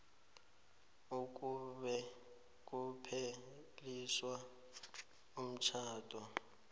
nakube kupheliswa umtjhado